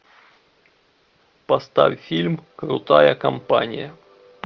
поставь фильм крутая компания